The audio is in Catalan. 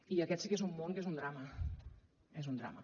i aquest sí que és un món que és un drama és un drama